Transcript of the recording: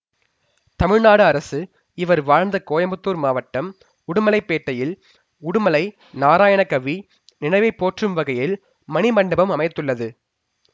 தமிழ்நாடு அரசு இவர் வாழ்ந்த கோயம்புத்தூர் மாவட்டம் உடுமலைப்பேட்டையில் உடுமலை நாராயணகவி நினைவை போற்றும் வகையில் மணிமண்டபம் அமைத்துள்ளது